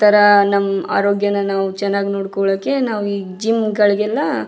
ಇತರ ನಮ್ಮ ಆರೋಗ್ಯನ ಚೆನ್ನಾಗಿ ನೋಡಿಕೊಳ್ಳೋಕೆ ನಾವು ಈ ಜಿಮ್ಗ ಳಿಗೆಲ್ಲ --